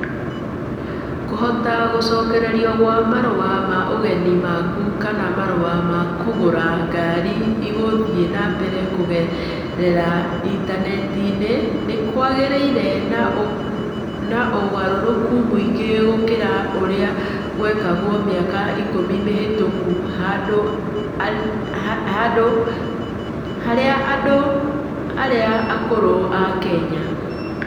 Kũhota gũcokererio gwa marũa ma ũgeni maku kana marũa ma kũgũra ngari ĩgũthiĩ na mbere kũgerera Intaneti nĩ kwagĩire na ũgarũrũku mũingĩ gũkĩra ũrĩa gwekagwo mĩaka ikũmi mĩhĩtũku harĩ andũ arĩa akũrũ a Kenya.